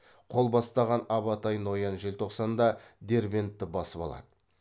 қол бастаған абатай ноян желтоқсанда дербентті басып алады